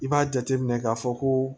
I b'a jateminɛ k'a fɔ ko